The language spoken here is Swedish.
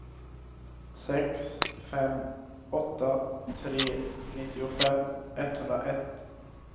sex fem åtta tre nittiofem etthundraett